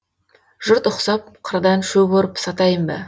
жұрт ұқсап қырдан шөп орып сатайын ба